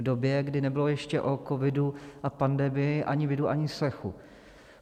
V době, kdy nebylo ještě o covidu a pandemii ani vidu, ani slechu.